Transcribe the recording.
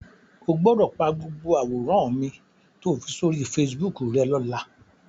O gbọ́dọ̀ pa gbogbo àwòrán mi to fi sóri Facebook rẹ́ lọ́la.